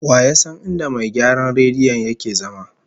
Wa ya san inda mai gyaran rediyon yake zama?